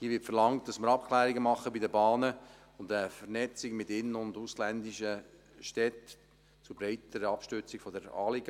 Hier wird verlangt, dass wir Abklärungen bei den Bahnen machen und eine Vernetzung mit in- und ausländischen Städten zur breiteren Abstützung des Anliegens.